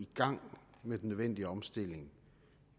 gang med den nødvendige omstilling